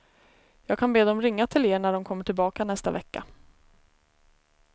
Jag kan be dem ringa till er när de kommer tillbaka i nästa vecka.